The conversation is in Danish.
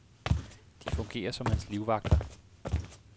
De fungerer som hans livvagter.